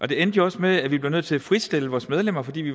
det endte jo også med at vi blev nødt til at fritstille vores medlemmer fordi vi